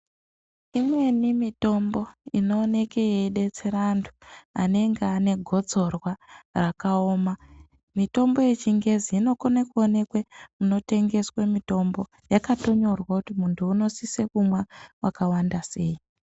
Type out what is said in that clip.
Imweni mitombo inooneke yeibetsere antu anenge ane negotsorwa rakaoma. Mitombo yechingezi inokone kuonekwe munotengeswe mitombo yakatonyorwa kuti muntu unosise kumwa vakawanda sei.